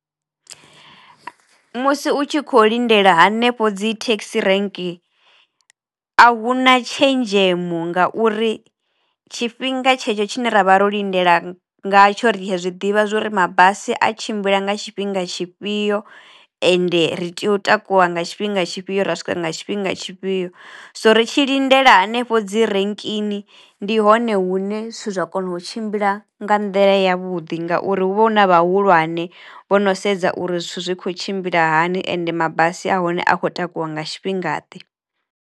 Musi u tshi kho lindela hanefho dzi thekhisi rank a hu na tshenzhemo ngauri tshifhinga tshetsho tshine ra vha ro lindela nga tsho ri a zwiḓivha zwori mabasi a tshimbila nga tshifhinga tshifhio ende ri tea u takuwa nga tshifhinga tshifhio, ra swika nga tshifhinga tshifhio so ri tshi lindela hanefho dzi renkini ndi hone hune zwithu zwa kono u tshimbila nga nḓila ya vhuḓi ngauri hu vha hu na vhahulwane vho no sedza uri zwithu zwi kho tshimbila hani ende mabasi a hone a kho takuwa nga tshifhingaḓe.